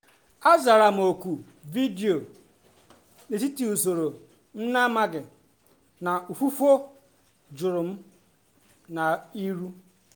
a zara m oku vidio n’etiti usoro m na-amaghị na ufụfụ juru m n’ihu.